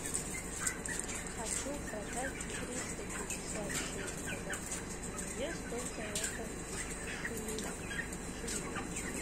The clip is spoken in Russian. хочу продать триста пятьдесят шесть казахских тенге сколько это в шиллингах